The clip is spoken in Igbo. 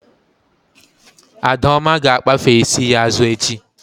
Adaoma ga-akpafe isi ya azụ echi